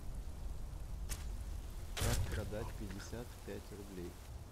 как продать пятьдесят пять рублей